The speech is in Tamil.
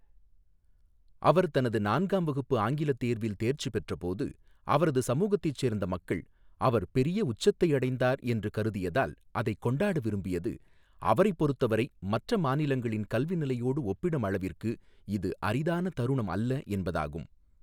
அவர் தனது நான்காம் வகுப்பு ஆங்கிலத் தேர்வில் தேர்ச்சி பெற்றபோது, அவரது சமூகத்தைச் சேர்ந்த மக்கள் அவர் "பெரிய உச்சத்தை அடைந்தார்" என்று கருதியதால் அதைக் கொண்டாட விரும்பியது அவரைப் பொறுத்த வரை மற்ற மாநிலங்களின் கல்வி நிலையோடு ஒப்பிடும் அளவிற்கு இது அரிதான தருணம் அல்ல என்பதாகும்.